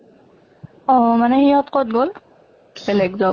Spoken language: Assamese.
অ মানে সিহঁত কʼত গʼল? বেলেগ job